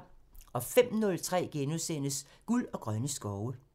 05:03: Guld og grønne skove *(tir)